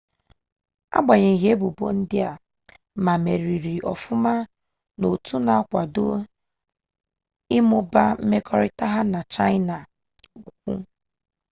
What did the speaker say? agbanyeghị ebubo ndị a ma meriri ọfụma n'otu na-akwado ịmụba mmekọrịta ha na chaịna ukwu